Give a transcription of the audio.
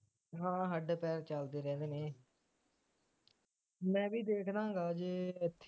ਹਾਂ ਹੱਡ ਪੈਰ ਚੱਲਦੇ ਰਹਿੰਦੇ ਨੇ ਮੈਂ ਵੀ ਦੇਖਦਾ ਹੈਗਾ ਜੇ ਇਥੇ